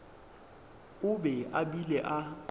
o be a bile a